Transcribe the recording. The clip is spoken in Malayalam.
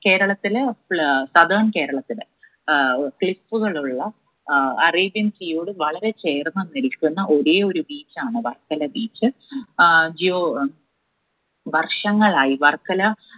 കേരത്തില് പ്ല് southern കേരളത്തില് ഏർ cliff ഉകളുള്ള അഹ് arabian sea യോട് വളരെ ചേർന്ന് നിൽക്കുന്ന ഒരേയൊരു beach ആണ് വർക്കല beach ആഹ് geo വർഷങ്ങളായി വർക്കല